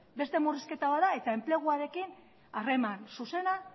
beste murrizketa bat eta enpleguarekin harreman zuzena